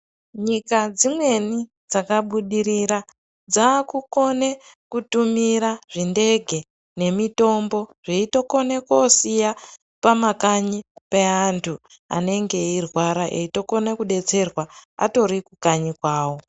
Nyika dzimweni dzakabudirira dzakukone kutumira zvindege nemitombo. Zveyitokone kosiya pamakanyi pe antu. Anenge eyirwara eyitokone kudetserwa atorikukanyi kwawo.